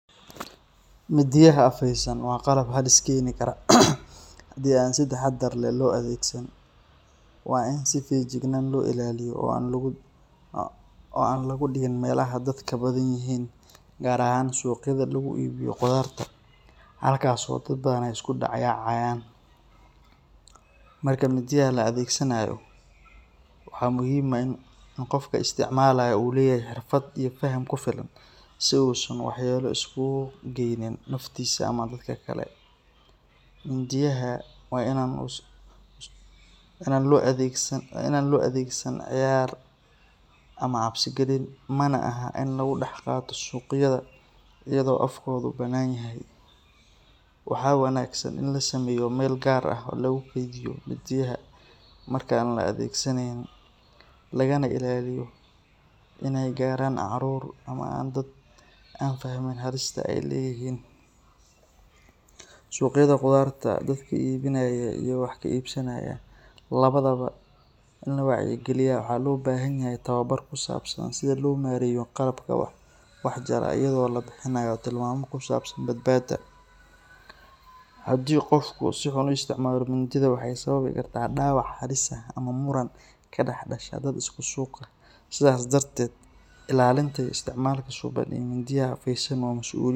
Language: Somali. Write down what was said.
Midiyaha afeysan waa qalab halis keeni kara haddii aan si taxaddar leh loo adeegsan. Waa in si feejigan loo ilaaliyo oo aan lagu dhigin meelaha dadka badan yihiin, gaar ahaan suuqyada lagu iibiyo qudarta halkaas oo dad badan ay isku dhex yaacayaan. Marka midiyaha la adeegsanayo, waxaa muhiim ah in qofka isticmaalaya uu leeyahay xirfad iyo faham ku filan si uusan waxyeello isugu geynin naftiisa ama dadka kale. Midiyaha waa in aan loo adeegsan cayaar ama cabsi gelin, mana aha in lagu dhex qaato suuqyada iyadoo afkoodu bannaan yahay. Waxaa wanaagsan in la sameeyo meel gaar ah oo lagu keydiyo midiyaha marka aan la adeegsanayn, lagana ilaaliyo inay gaaraan carruur ama dad aan fahmin halista ay leeyihiin. Suuqyada qudarta, dadka iibinaya iyo kuwa wax ka iibsanaya labadaba waa in la wacyigeliyaa. Waxaa loo baahan yahay tababar ku saabsan sida loo maareeyo qalabka wax jara, iyadoo la bixinayo tilmaamo ku saabsan badbaadada. Haddii qofku si xun u isticmaalo mindida, waxay sababi kartaa dhaawac halis ah ama muran ka dhex dhasha dad isku suuq ah. Sidaas darteed, ilaalinta iyo isticmaalka suuban ee midiyaha afeysan waa masuuliyad.